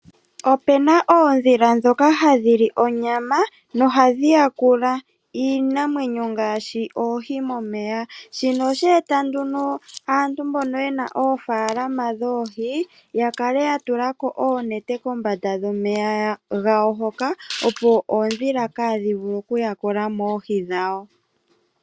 Opena oondhila ndhoka hadhili onyama nohadhi yakula iinamwenyo ngaashi oohi momeya shino ohashi eta opo aantu mbono yena oofaalama dhoohi yakale yatula ko oonete kombanda yomeya opo oondhila kaadhi vule okuyakula mo oohi dhawo.